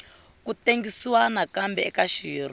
ku tengisiwa nakambe eka xirho